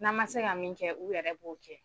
N'an ma se ka min kɛ u yɛrɛ b'o kɛ